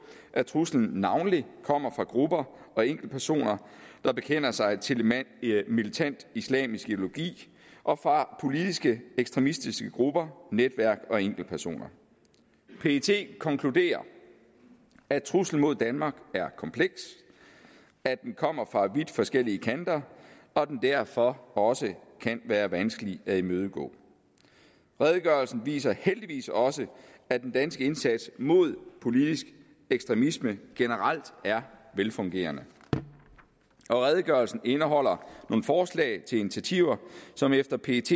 at truslen navnlig kommer fra grupper og enkeltpersoner der bekender sig til militant islamisk ideologi og fra politiske ekstremistiske grupper netværk og enkeltpersoner pet konkluderer at truslen mod danmark er kompleks at den kommer fra vidt forskellige kanter og at den derfor også kan være vanskelig at imødegå redegørelsen viser heldigvis også at den danske indsats mod politisk ekstremisme generelt er velfungerende og redegørelsen indeholder nogle forslag til initiativer som efter pets